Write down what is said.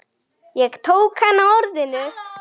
Ég tók hann á orðinu.